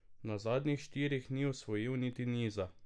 Na zadnjih štirih ni osvojil niti niza.